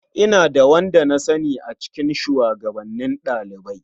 Ina da wanda na sani a cikin shugabannin ɗalibai.